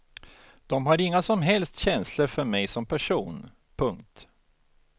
De har inga som helst känslor för mig som person. punkt